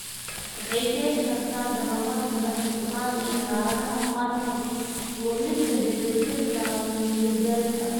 Waxay keeni kartaa dawakhaad, madax-furnaan, iyo xaaladaha qaarkood, luminta dheelitirka ama miyir-beelka.